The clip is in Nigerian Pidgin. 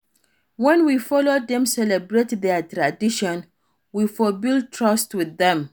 When we follow dem celebrate their tradition, we for build trust with them